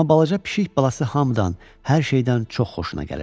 Amma balaca pişik balası hamıdan, hər şeydən çox xoşuna gəlirdi.